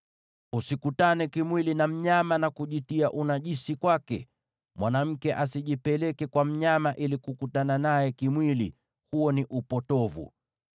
“ ‘Usikutane kimwili na mnyama na kujitia unajisi kwake. Mwanamke asijipeleke kwa mnyama ili kukutana naye kimwili; huo ni upotovu.